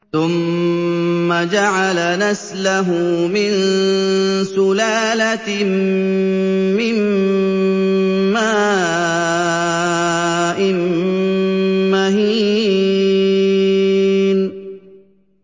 ثُمَّ جَعَلَ نَسْلَهُ مِن سُلَالَةٍ مِّن مَّاءٍ مَّهِينٍ